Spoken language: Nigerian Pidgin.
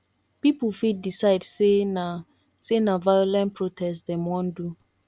pipo fit decide say na say na violent protest dem won do